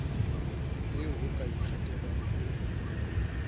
eo ho ka ikgethelwang ho